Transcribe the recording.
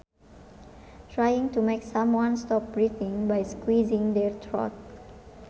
Trying to make someone stop breathing by squeezing their throat